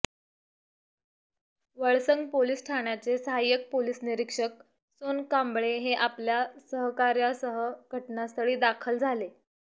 Valsang police ठाण्याचे सहायक police निरीक्षक सोनकांबळे हे आपल्या सहकाऱयासह घटनास्थळी दाखल झाले